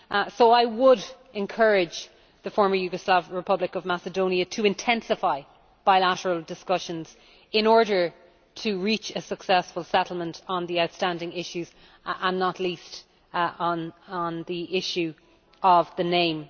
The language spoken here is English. So I would encourage the Former Yugoslav Republic of Macedonia to intensify bilateral discussions in order to reach a successful settlement on the outstanding issues, and not least on the issue of the name.